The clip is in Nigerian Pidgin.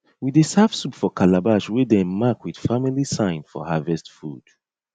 we dey serve soup for calabash wey dem mark with family sign for harvest food